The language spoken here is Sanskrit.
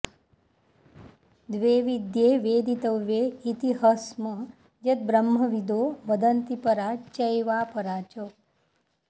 द्वे विद्ये वेदितव्ये इति ह स्म यद्ब्रह्मविदो वदन्ति परा चैवापरा च